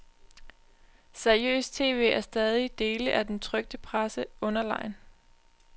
Seriøst tv er stadig dele af den trykte presse underlegen.